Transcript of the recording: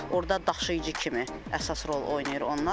Orda daşıyıcı kimi əsas rol oynayır onlar.